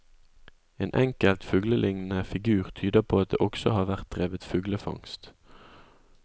En enkelt fugleliknende figur tyder på at det også har vært drevet fuglefangst.